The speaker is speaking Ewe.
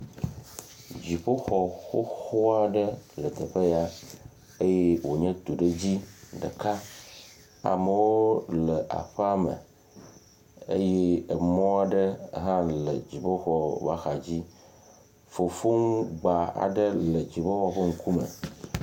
Dziƒo xoxo aɖe le teƒe ya eye wonye tuɖedzi ɖeka, amewo le aƒeame eye emɔa ɖe hã le dziƒo ƒe axa dzi, fofŋu gba aɖe le dziƒoxɔ ƒe ŋkume.